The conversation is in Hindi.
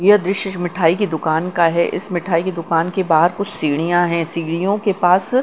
यह दृश्य मिठाई की दुकान का है इस मिठाई की दुकान के बाहर कुछ सीढ़ियां हैं सीढ़ियों के पास--